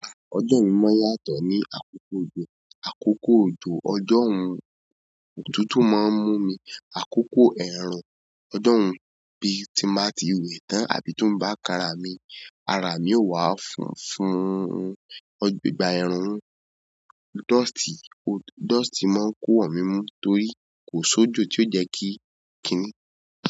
Àá, ọjọ́ mi máa ń yàtọ̀ ní àkókò òjò. Àkókò òjò ọjọ́ un, òtútù máa ń mú mi. Àkókò ẹ̀ẹ̀rùn ọjọ́yn bí tí màá ti wẹ̀ tán àbí tómi bá kan ara mi, ara mi yóò wá funfun, ìgbà ẹ̀ẹ̀rùn ni. Dust, dust máa ń kó wọ̀ mi ńmú torí kò sójò tí ó jẹ́ kí, kiní.